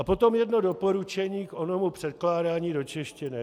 A potom jedno doporučení k onomu překládání do češtiny.